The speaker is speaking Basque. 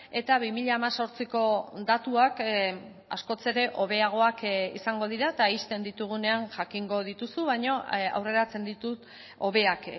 eta bi mila hemezortziko datuak askoz ere hobeagoak izango dira eta ixten ditugunean jakingo dituzu baino aurreratzen ditut hobeak